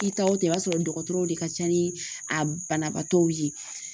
I taw tɛ i b'a sɔrɔ dɔgɔtɔrɔw de ka ca ni a banabaatɔw ye